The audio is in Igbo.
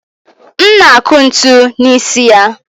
m na-akụ ntu n'isi ya